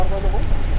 Həə bala, oğul?